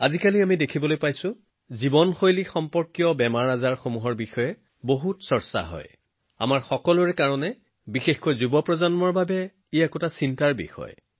আজিকালি আমি দেখিবলৈ পাওঁ জীৱনশৈলী সম্পৰ্কীয় ৰোগৰ বিষয়ে কিমান চৰ্চা হৈছে আমাৰ সকলোৰে বাবে বিশেষকৈ যুৱকযুৱতীসকলৰ বাবে ই যথেষ্ট চিন্তাৰ বিষয়